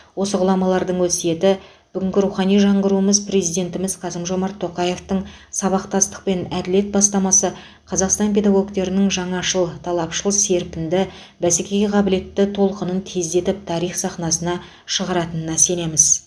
осы ғұламалардың өсиеті бүгінгі рухани жаңғыруымыз президентіміз қасым жомарт тоқаевтың сабақтастық пен әділет бастамасы қазақстан педагогтерінің жаңашыл талапшыл серпінді бәскеге қабілетті толқынын тездетіп тарих сахнасына шығаратынына сенімдіміз